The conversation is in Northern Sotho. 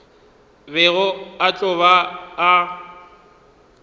bego a tlo ba a